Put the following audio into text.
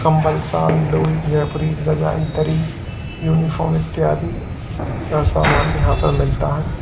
कम्बम शाल लोई जयपुरी रजाई दरी यूनिफॉर्म इत्यादि का सामान यहां पर मिलता है।